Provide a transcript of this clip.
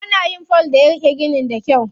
Ana yin fol da ya riƙe ginin da kyau.